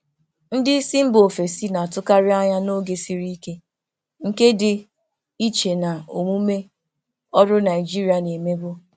Ndị oga si mba ọzọ na-achọkarị ịbịa n'oge siri ike, nke dị iche na omume ọrụ Naịjirịa a na-emekarị.